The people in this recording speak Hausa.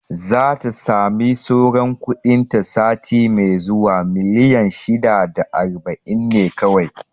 Zata sami sauran kuɗin ta sati mai zuwa, miliyan shida da aiba'in ne kawai